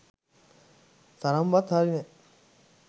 තරම්වත් හරි නෑ